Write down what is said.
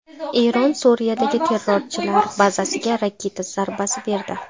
Eron Suriyadagi terrorchilar bazasiga raketa zarbasi berdi.